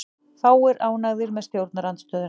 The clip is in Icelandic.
Fáir ánægðir með stjórnarandstöðuna